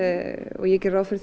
og ég geri ráð fyrir